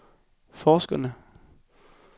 forskerne